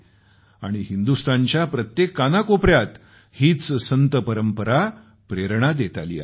आणि हिंदुस्तानच्या प्रत्येक कानाकोपऱ्यात हीच संत परंपरा प्रेरणा देत आली आहे